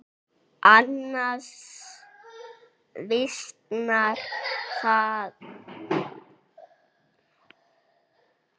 Annars visnar það bara, ha.